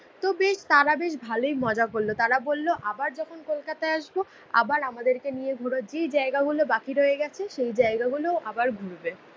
তারা বেশ ভালোই মজা করলো। তারা বললো আবার যখন কলকাতায় আসবো আবার আমাদেরকে নিয়ে ঘুরবা, যেই জায়গাগুলো বাকি রয়েগেছে সেই জায়গাগুলো আবার ঘুরবে।